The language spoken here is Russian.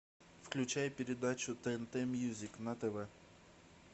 включай передачу тнт мьюзик на тв